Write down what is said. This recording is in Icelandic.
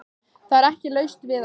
Það er ekki laust við að